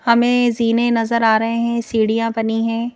हमें जीने नजर आ रहे हैं सीढ़ियां बनी हैं।